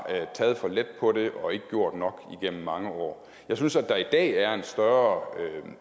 taget for let på det og ikke gjort nok igennem mange år jeg synes at der i dag er en større